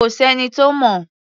Kò s’ẹ́ni tó mọ̀.